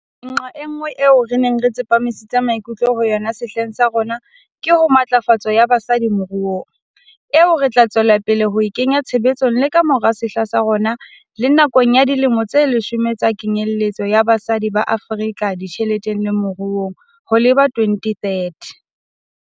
Nqa enngwe eo re neng re tsepamisitse maikutlo ho yona sehleng sa rona ke ho matlafatso ya basadi moruong, eo re tla tswela pele ho e kenya tshebetsong le ka mora sehla sa rona le nakong ya Dilemo tse Leshome tsa Kenyeletso ya Basadi ba Afrika Ditjheleteng le Moruong ho leba ho 2030.